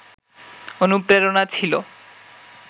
অনুপ্রেরণা ছিল